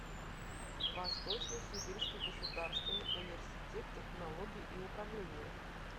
восточно сибирский государственный университет технологий и управления